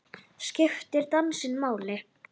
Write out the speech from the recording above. Skiptir dansinn máli?